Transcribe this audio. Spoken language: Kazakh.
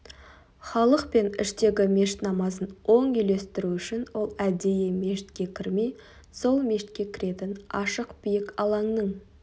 халық пен іштегі мешіт намазын оң үйлестіру үшін ол әдейі мешітке кірмей сол мешітке кіретін ашық биік алаңның